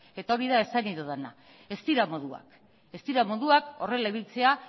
eta hori da esan nahi dudana ez dira moduak ez dira moduak horrela ibiltzea